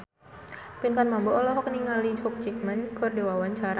Pinkan Mambo olohok ningali Hugh Jackman keur diwawancara